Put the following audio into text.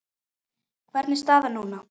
Hvernig er staðan núna?